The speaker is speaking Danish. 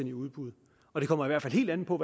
i udbud og det kommer i hvert fald helt an på